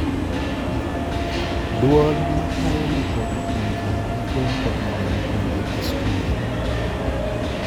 Duol matayo ndiko jupuoje giko to omedo jopuonje e skunde